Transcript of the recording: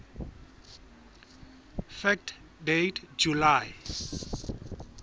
fact date july